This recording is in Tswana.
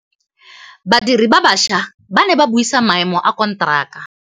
Badiri ba baša ba ne ba buisa maêmô a konteraka.